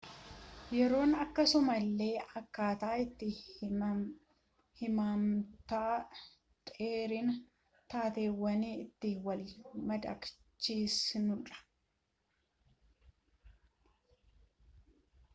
yeroon akkasuma illee akkaataa itti hammamtaa dheerina taateewwanii itti wal madaalchisnudha